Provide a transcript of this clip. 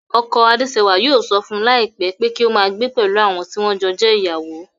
Ọkọ Adésẹwà yóò sọ fún láìpé pé kí o máa gbé pẹ̀lú àwọn tí wọ́n jọ jẹ́ ìyàwó